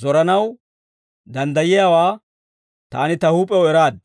zoranaw danddayiyaawaa taani ta huup'ew eraad.